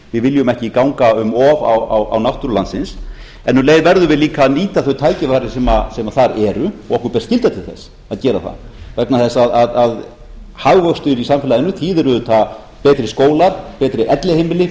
við viljum ekki ganga um of á náttúru landsins en um leið verðum við líta að nýta þau tækifæri sem þar eru og okkur ber skylda til þess að gera það vegna þess að hagvöxtur í samfélaginu þýðir auðvitað betri skólar betri elliheimili